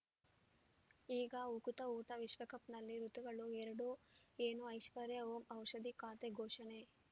ಈಗ ಉಕುತ ಊಟ ವಿಶ್ವಕಪ್‌ನಲ್ಲಿ ಋತುಗಳು ಎರಡು ಏನು ಐಶ್ವರ್ಯಾ ಓಂ ಔಷಧಿ ಖಾತೆ ಘೋಷಣೆ